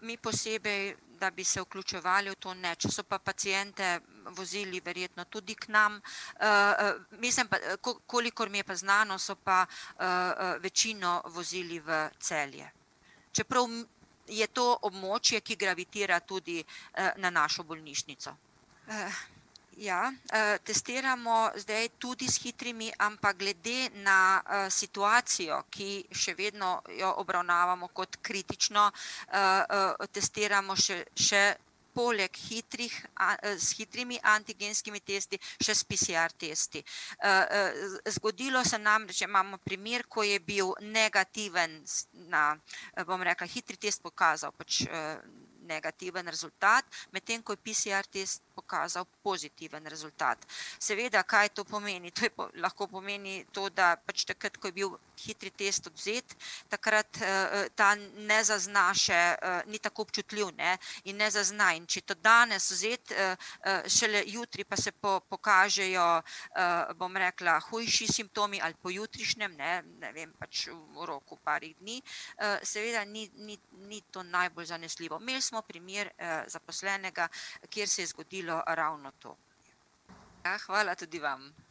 mi posebej, da bi se vključevali v to, ne, če so pa paciente vozili verjetno tudi k nam, mislim pa, kolikor mi je pa znano, so pa večino vozili v Celje. Čeprav je to območje, ki gravitira tudi na našo bolnišnico. ja, testiramo zdaj tudi s hitrimi, ampak glede na situacijo, ki še vedno jo obravnavamo kot kritično, testiramo še, še poleg hitrih s hitrimi antigenskimi testi še s PCR-testi. zgodilo se nam, že imamo primer, ko je bil negativen na ... bom rekla, hitri, test pokazal pač negativen rezultat, medtem ko je PCR-test pokazal pozitiven rezultat. Seveda, kaj to pomeni, to je lahko pomeni to, da pač takrat ko je bil hitri test odvzet, takrat ta ne zazna še, ni tako občutljiv, ne, in ne zazna. In če je to danes vzet šele jutri pa se pokažejo, bom rekla, hujši simptomi, ali pojutrišnjem, ne, ne vem, pač v roku parih dni, seveda ni, ni, ni to najbolj zanesljivo. Imeli smo primer zaposlenega, kjer se je zgodilo ravno to. Ja, hvala tudi vam.